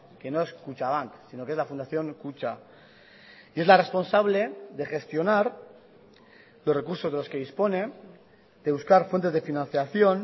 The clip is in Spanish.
que no es kutxabank sino que es la fundación kutxa es la responsable de gestionar los recursos de los que dispone de buscar fuentes de financiación